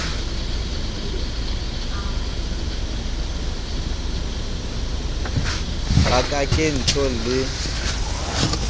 ba ka ke tjho le